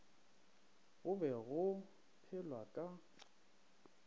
go be go phelwa ka